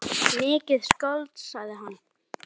Mikið skáld, sagði hann.